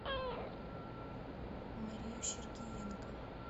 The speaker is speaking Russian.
марию сергиенко